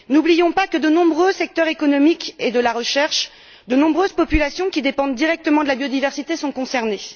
N'oublions pas cependant que de nombreux secteurs de l'économie et de la recherche, de nombreuses populations qui dépendent directement de la biodiversité sont concernés.